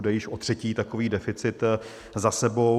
Jde již o třetí takový deficit za sebou.